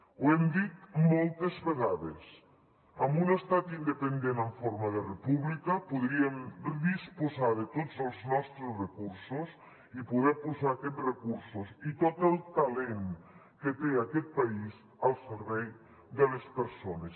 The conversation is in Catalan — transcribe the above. ho hem dit moltes vegades amb un estat independent en forma de república podríem disposar de tots els nostres recursos i poder posar aquests recursos i tot el talent que té aquest país al servei de les persones